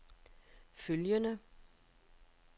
følgende